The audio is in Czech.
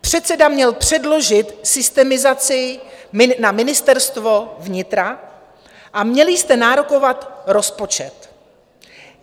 Předseda měl předložit systemizaci na Ministerstvo vnitra a měli jste nárokovat rozpočet.